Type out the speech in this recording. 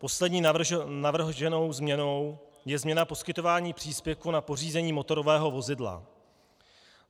Poslední navrženou změnou je změna poskytování příspěvku na pořízení motorového vozidla.